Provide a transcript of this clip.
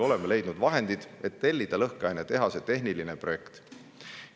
Oleme leidnud vahendid, et tellida lõhkeainetehase tehniline projekt.